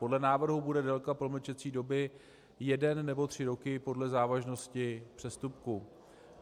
Podle návrhu bude délka promlčecí doby jeden nebo tři roky podle závažnosti přestupku.